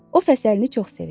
O fəsəlini çox sevir.